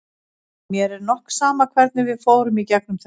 En mér er nokk sama hvernig við fórum í gegnum þetta.